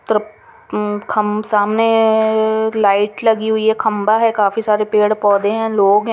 तर्प मम आ खम सामने ए ए ए सामने लाइट लगी हुई है खम्बा है काफ़ी सारे पेड़ पौधे है लोंग है। ।